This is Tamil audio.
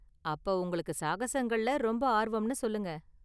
அப்ப, உங்களுக்கு சாகசங்கள்ல ரொம்ப ஆர்வம்னு சொல்லுங்க!